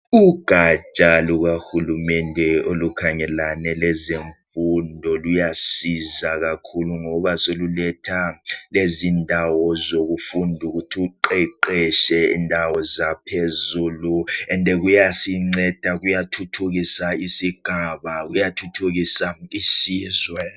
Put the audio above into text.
Ugatsha lukahulumende olukhangelane lezemfundo luyasiza kakhulu ngoba seluletha ezokufunda ukuthi uqeqetshe kundawo zaphezulu njalo luyasinceda kuyathuthukisa isigaba kuyathuthukisa isizwe.